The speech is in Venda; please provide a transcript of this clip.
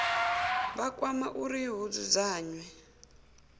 vha kwama uri hu dzudzanywe